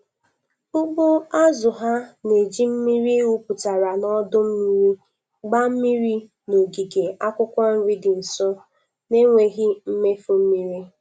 Ugbo azụ ha na-eji mmiri wụpụtara n’ọdụ-mmiri gbaa mmiri n’ogige akwụkwọ nri dị nso, na-enweghị mmefu mmiri.